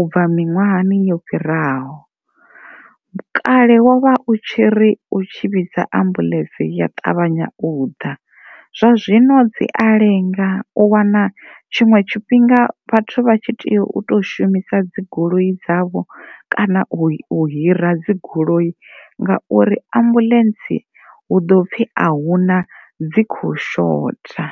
u bva miṅwahani yo fhiraho kale wo vha u tshi ri u vhidza ambuḽentsi ya ṱavhanya u ḓa, zwa zwino i ya lenga u wana tshiṅwe tshifhinga vhathu vha tshi tea u to shumisa dzigoloi dzavho kana u hira dzigoloi ngauri ambuḽentsi hu ḓo pfhi ahuna dzi kho shotha.